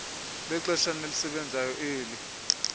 lexeshana elisebenzayo eli